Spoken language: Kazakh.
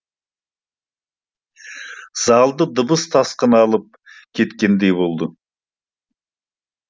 залды дыбыс тасқыны алып кеткендей болды